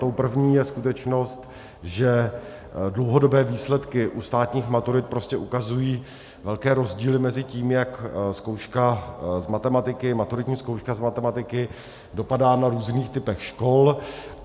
Tou první je skutečnost, že dlouhodobé výsledky u státních maturit ukazují velké rozdíly mezi tím, jak maturitní zkouška z matematiky dopadá na různých typech škol.